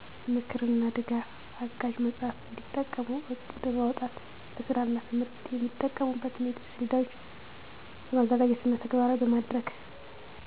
ምክርና ድጋፍ አጋዥ መጽሃፍ እንዲጠቀሙ ዕቅድ በማውጣት ለስራና ለትምህርት የሚጠቀሙበትን የጊዜ ሰሌዳዎችን በማዘጋጀትና ተግባራዊ በማድረግ